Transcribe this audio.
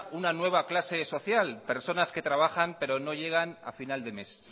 una nueva clase social personas que trabajan pero no llegan a final de mes